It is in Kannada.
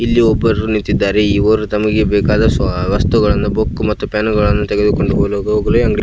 ಇಲ್ಲಿ ಒಬ್ಬರು ನಿಂತಿದ್ದಾರೆ ಇವರು ತಮಗೆ ಬೇಕಾದ ವಸ್ತುಗಳನ್ನು ಬುಕ್ ಮತ್ತು ಪೆನ್ನುಗಳನ್ನು ತೆಗೆದುಕೊಂಡು ಹೋಗಲು ಅಂಗಡಿಗೆ --